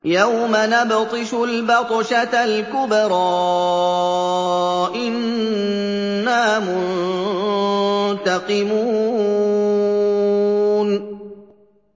يَوْمَ نَبْطِشُ الْبَطْشَةَ الْكُبْرَىٰ إِنَّا مُنتَقِمُونَ